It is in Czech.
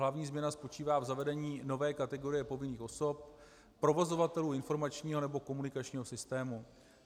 Hlavní změna spočívá v zavedení nové kategorie povinných osob provozovatelů informačního nebo komunikačního systému.